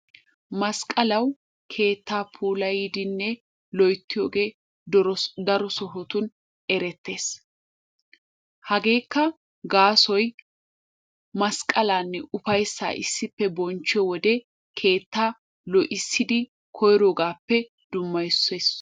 Masqqalawu keettaa puulayidinne loyttiyogee daro sohotun erettees. Hageekka gaasoy masqqalaanne ufayssaa issippe bonchchiyode keettaa lo'issidi koyroogaappe dummayissees.